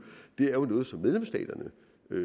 det er jo noget som medlemsstaterne